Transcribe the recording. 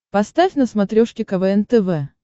поставь на смотрешке квн тв